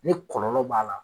Ni kɔlɔlɔ b'a la